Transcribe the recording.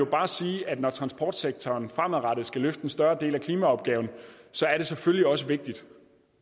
bare sige at når transportsektoren fremadrettet skal løfte en større del af klimaopgaven er det selvfølgelig også vigtigt